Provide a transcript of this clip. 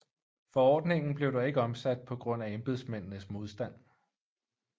Forordningen blev dog ikke omsat på grund af embedsmændenes modstand